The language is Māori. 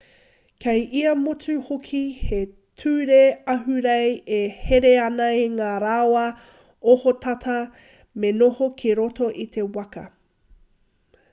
kei ia motu hoki he ture ahurei e here ana i ngā rawa ohotata me noho ki roto i te waka